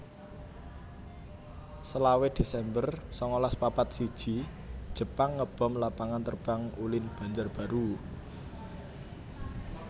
selawe desember sangalas papat siji Jepang ngebom Lapangan Terbang Ulin Banjarbaru